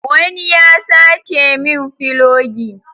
Wani ya sace min filogi